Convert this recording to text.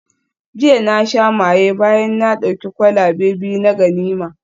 Jiya na sha maye bayan na dauki kwalabe biyu na ganima